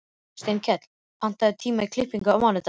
Steinkell, pantaðu tíma í klippingu á mánudaginn.